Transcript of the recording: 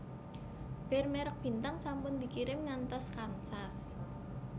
Bir merk Bintang sampun dikirim ngantos Kansas